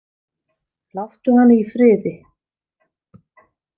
Láttu hana í friði.